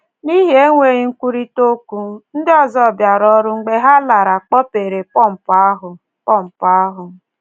N’ihi enweghị nkwurịta okwu, ndị ọzọ bịara ọrụ mgbe ha lara kpọpere pọmpụ ahụ. pọmpụ ahụ.